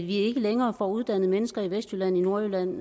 ikke længere får uddannet mennesker i vestjylland nordjylland